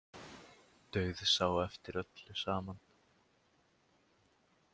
Dauðsá eftir öllu saman.